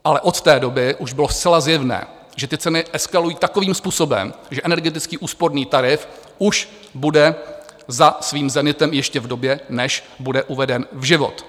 Ale od té doby už bylo zcela zjevné, že ty ceny eskalují takovým způsobem, že energetický úsporný tarif už bude za svým zenitem ještě v době, než bude uveden v život.